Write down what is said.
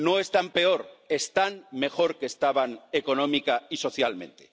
No están peor, están mejor que estaban económica y socialmente.